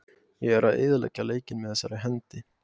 Ég er að eyðileggja leikinn með þessari hendi.